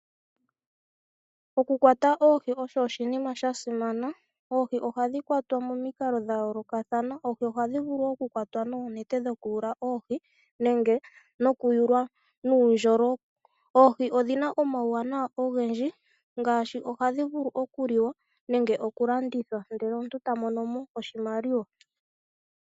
Okukwata oohi osho oshinima sha simana. Oohi ohadhi kwatwa momikalo dha yoolokathana. Ohadhi vulu okukwatwa noonete dhokuyula oohi nenge nuundjolo. Oohi odhina omauwanawa ogendji ngaashi, okuliwa nenge okulandithwa ndele omuntu ta mono mo oshimaliwa.